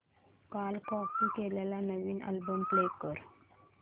काल कॉपी केलेला नवीन अल्बम प्ले कर